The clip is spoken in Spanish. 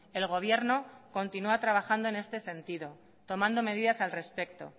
el gobierno continúa trabajando en este sentido tomando medidas al respecto